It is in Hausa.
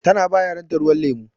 Ta na ba yaran ta ruwan lemu.